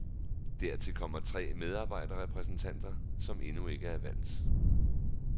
Dertil kommer tre medarbejderrepræsentanter, som endnu ikke er valgt.